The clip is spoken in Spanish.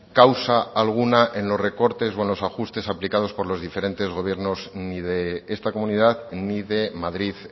causa alguna en los recortes o en los ajustes aplicados por los diferentes gobiernos ni de esta comunidad ni de madrid